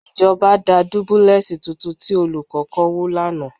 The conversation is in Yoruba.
Ìjọba da dúbúlẹ́ẹ̀sì tuntun tí Olùkọ́ kọ́ wó lánàá